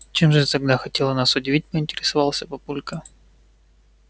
чем же тогда ты хотела нас удивить поинтересовался папулька